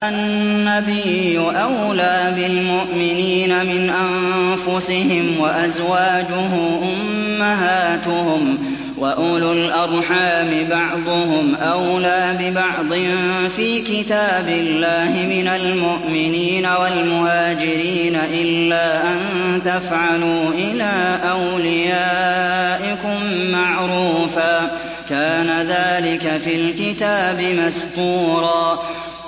النَّبِيُّ أَوْلَىٰ بِالْمُؤْمِنِينَ مِنْ أَنفُسِهِمْ ۖ وَأَزْوَاجُهُ أُمَّهَاتُهُمْ ۗ وَأُولُو الْأَرْحَامِ بَعْضُهُمْ أَوْلَىٰ بِبَعْضٍ فِي كِتَابِ اللَّهِ مِنَ الْمُؤْمِنِينَ وَالْمُهَاجِرِينَ إِلَّا أَن تَفْعَلُوا إِلَىٰ أَوْلِيَائِكُم مَّعْرُوفًا ۚ كَانَ ذَٰلِكَ فِي الْكِتَابِ مَسْطُورًا